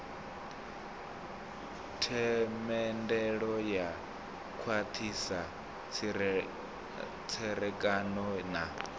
themendelo u khwathisa tserekano na